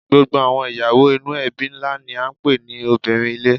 Gbogbo àwọn ìyàwó inú ẹbí ńlá ni à ń pè ní obìnrin ilé